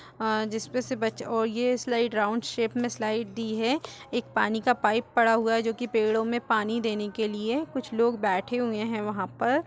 अं जिसपे से बच्च औ ये स्लाइड राउंड शेप में स्लाइड दी है। एक पानी का पाइप पड़ा हुआ है जोकि पेड़ों में पानी देने के लिए कुछ लोग बैठे हुए हैं वहाँं पर।